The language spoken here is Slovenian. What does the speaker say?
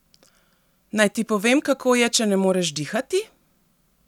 Naj ti povem, kako je, če ne moreš dihati?